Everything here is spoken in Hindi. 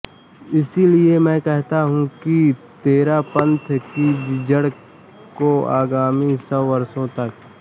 इसलिए मैं कहता हूं कि तेरापंथ की जड़ को आगामी सौ वर्षों तक